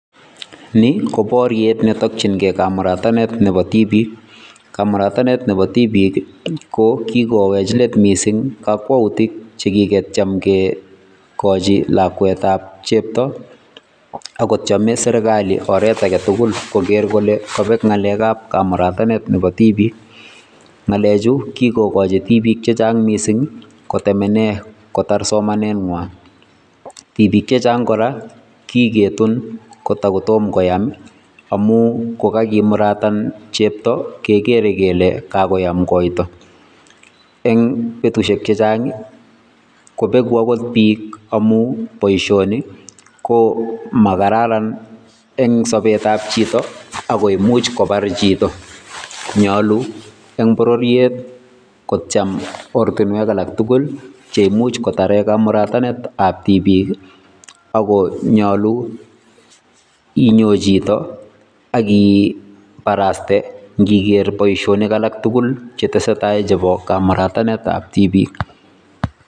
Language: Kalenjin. Ni ko boryet netokyingei kamuratanetab tibiik, kamuratanet Nebo tibiik KO kikowech let missing, chekicham keyochin lakwetab cheptoo. Ako tieme serkali oret agetugul kogeer kole kobeek kamuratanetab tibiik. Ngalechu kikochi tibiik chechang missing kotemenen kotar somanenywan. Tibiik chechang koraa kiketun kotomkoyaam amun kokakimuratan chepto kegere kele kakoyam koito. Eng betusiek chechang I,kobeku okot book amun boishoni komakararan, eng sobet ab chito ako imuch kobar chito. Eng bororiet kotiem oratinwek tugul cheimuch kotar kamuratanetab tibiik ak KO nyolu inyon chito ak ibaraste ingekeer boishonik tugul chetesetai chebo kamuratanetab tibiik